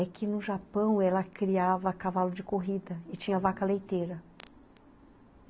É que no Japão ela criava cavalo de corrida e tinha vaca leiteira.